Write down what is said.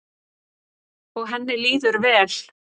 Og henni líður vel.